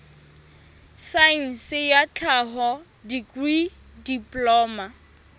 saense ya tlhaho dikri diploma